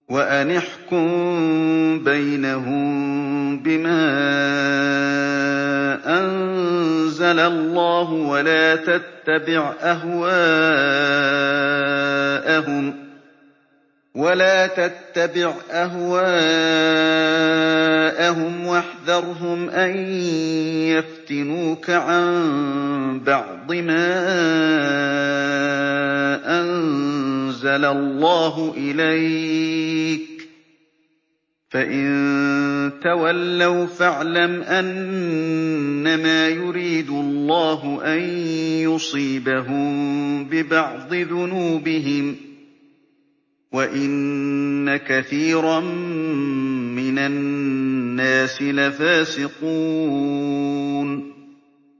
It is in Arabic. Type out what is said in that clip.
وَأَنِ احْكُم بَيْنَهُم بِمَا أَنزَلَ اللَّهُ وَلَا تَتَّبِعْ أَهْوَاءَهُمْ وَاحْذَرْهُمْ أَن يَفْتِنُوكَ عَن بَعْضِ مَا أَنزَلَ اللَّهُ إِلَيْكَ ۖ فَإِن تَوَلَّوْا فَاعْلَمْ أَنَّمَا يُرِيدُ اللَّهُ أَن يُصِيبَهُم بِبَعْضِ ذُنُوبِهِمْ ۗ وَإِنَّ كَثِيرًا مِّنَ النَّاسِ لَفَاسِقُونَ